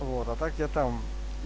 вот а так я там